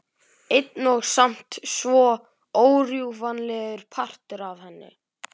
Einn og samt svo órjúfanlegur partur af henni.